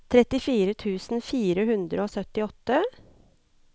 trettifire tusen fire hundre og syttiåtte